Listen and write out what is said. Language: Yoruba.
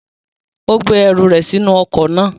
Ó gbé ẹrù rẹ̀ sínú ọkọ̀ náà.